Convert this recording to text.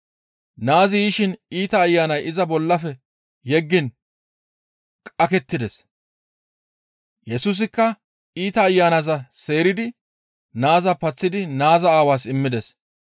Naazi yishin iita ayanay iza bollafe yeggiin qakettides. Yesusikka iita ayanaza seeridi naaza paththidi naaza aawaas immides.